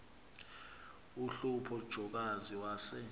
uhlupho jokazi wase